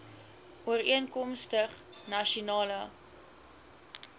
ooreenkomstig nasion ale